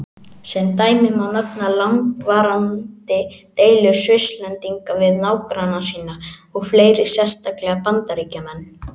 Sem dæmi má nefna langvarandi deilur Svisslendinga við nágranna sína og fleiri, sérstaklega Bandaríkjamenn.